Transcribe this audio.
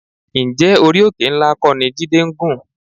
Ǹjẹ́ orí òkè ńlá kọ́ ni Jídé ń gùn?